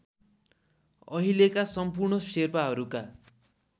अहिलेका सम्पूर्ण शेर्पाहरूका